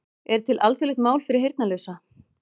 Er til alþjóðlegt mál fyrir heyrnarlausa?